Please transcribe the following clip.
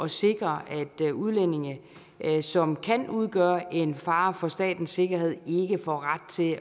sikre at udlændinge som kan udgøre en fare for statens sikkerhed ikke får ret til